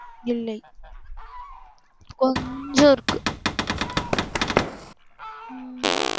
இல்லை கொஞ்சம் இருக்கு உம்